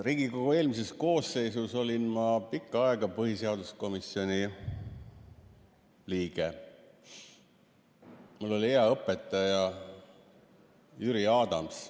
Riigikogu eelmises koosseisus olin ma pikka aega põhiseaduskomisjoni liige ja mul oli hea õpetaja Jüri Adams.